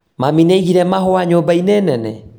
Mami nĩaigire mahũa nyũmba-inĩ nene?